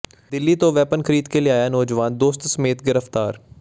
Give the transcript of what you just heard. ਦਿੱਲੀ ਤੋਂ ਵੈਪਨ ਖਰੀਦ ਕੇ ਲਿਆਇਆ ਨੌਜਵਾਨ ਦੋਸਤ ਸਮੇਤ ਗ੍ਰਿਫਤਾਰ